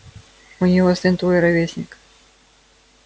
у него сын твой ровесник